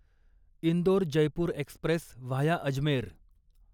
Indore Jaipur express via Ajmer